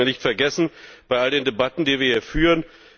Das sollten wir nicht vergessen bei all den Debatten, die wir hier führen.